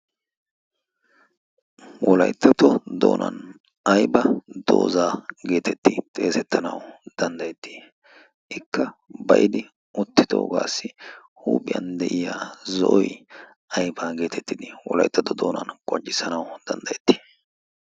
Wolayttato doona aybba doozaa getetti xeesseatanaw danddayetti? ikkaa baa'i uttidoogassi huuphiyaa de'iyaagasi zo'oy aybba getettidi wolaytatto doonan xeesetanaw danddayeetti?